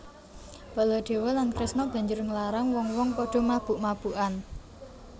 Baladewa lan Kresna banjur nglarang wong wong padha mabuk mabukan